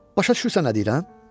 Başa düşürsən nə deyirəm?